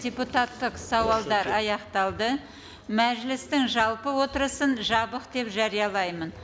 депутаттық сауалдар аяқталды мәжілістің жалпы отырсын жабық деп жариялаймын